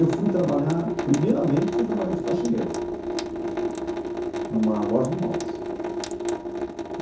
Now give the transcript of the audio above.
Eu fui trabalhar, primeiramente fui trabalhar de faxineiro. Uhum. Numa loja de imóveis.